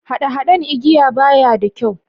Hade-Haden giya baya da kyau.